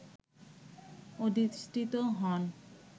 অধিষ্টিত হন